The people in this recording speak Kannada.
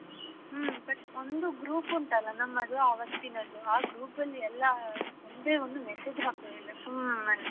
But ಒಂದು group ಉಂಟಲ್ಲ ನಮ್ಮದು ಅವತ್ತಿನದು ಆ group ಅಲ್ಲಿ ಎಲ್ಲಾ ಒಂದೇ ಒಂದು message ಹಾಕುದಿಲ್ಲ ಸುಮ್ಮನೆ.